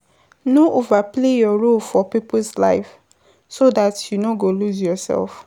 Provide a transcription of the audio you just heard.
No overplay your role for peoples life so dat you no go loose yourself